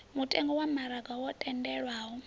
mutengo wa maraga wo tendelwaho